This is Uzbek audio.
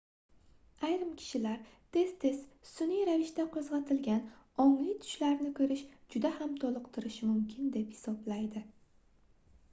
ayrim kishilar tez-tez sunʼiy ravishda qoʻzgʻatilgan ongli tushlarni koʻrish juda ham toliqtirishi mumkin deb hisoblaydi